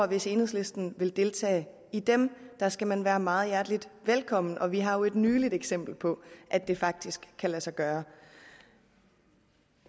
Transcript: hvis enhedslisten vil deltage i dem der skal man være meget hjertelig velkommen og vi har jo et nyligt eksempel på at det faktisk kan lade sig gøre